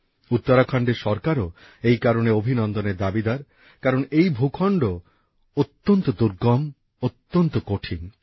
উত্তরাখণ্ডের সরকারও এই কারণে অভিনন্দনের দাবীদার কারণ এই ভূখণ্ড অত্যন্ত দুর্গম অত্যন্ত কঠিন